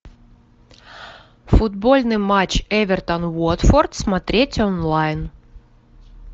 футбольный матч эвертон уотфорд смотреть онлайн